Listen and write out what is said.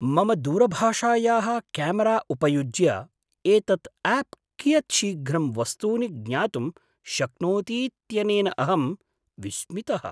मम दूरभाषायाः क्यामरा उपयुज्य एतत् आप् कियत् शीघ्रं वस्तूनि ज्ञातुं शक्नोतीत्यनेन अहं विस्मितः।